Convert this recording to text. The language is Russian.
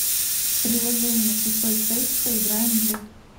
приложение пустой тест поиграем в